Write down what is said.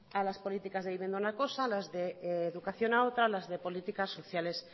a las políticas de vivienda una cosa a las de educación a otra las de políticas sociales